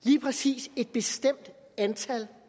lige præcis et bestemt antal